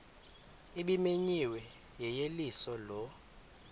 ebimenyiwe yeyeliso lo